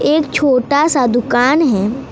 एक छोटा सा दुकान है।